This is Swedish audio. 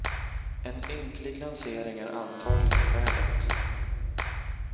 En ynklig lansering är antagligen skälet.